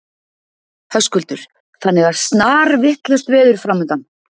Höskuldur: Þannig að snarvitlaust veður framundan?